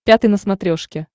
пятый на смотрешке